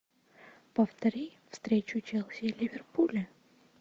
повтори встречу челси и ливерпуля